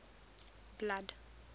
blood